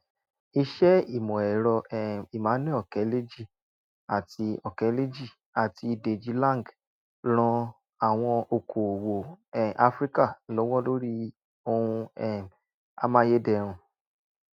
iṣẹ ìmọ ẹrọ um emmanuel okeleji àti okeleji àti deji lang ran àwọn okoòwò um áfríkà lọwọ lórí ohun um amáyédẹrùn